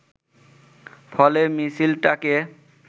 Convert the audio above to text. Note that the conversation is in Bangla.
ফলে মিছিলটাকে